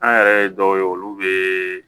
An yɛrɛ ye dɔw ye olu bɛ